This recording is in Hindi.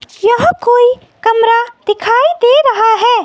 यहाँ कोई कमरा दिखाई दे रहा है।